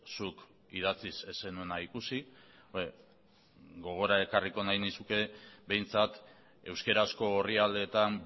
zuk idatziz ez zenuena ikusi gogora ekarriko nahi nizuke behintzat euskarazko orrialdeetan